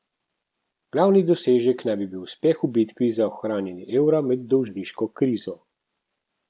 Glavni dosežek naj bi bil uspeh v bitki za ohranjanje evra med dolžniško krizo.